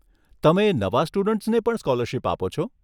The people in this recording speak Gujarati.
તમે નવા સ્ટુડન્ટ્સને પણ સ્કોલરશીપ આપો છો?